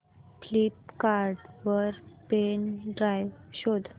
Flipkart वर pen drive शोधा